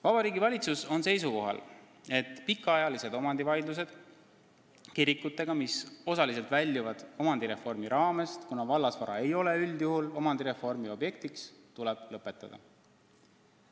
Vabariigi Valitsus on seisukohal, et pikaajalised omandivaidlused kirikutega, mis osaliselt väljuvad omandireformi raamest, kuna vallasvara ei ole üldjuhul omandireformi objektiks, tuleb lõpetada.